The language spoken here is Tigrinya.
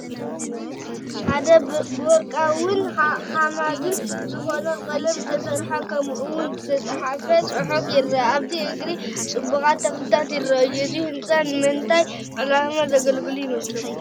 ሓደ ብወርቃውን ሓማድን ዝኾነ ቀለም ዝተሰርሐ ከምኡ ውን ዝተፃሕፈ ፅሑፍ ይረአ፡፡ ኣብቲ እግሪ ፅቡቓት ተኽልታት ይራኣዩ፡፡ እዚ ህንፃ ንመንታይ ዕላማ ዘገልግል ይመስለኩም?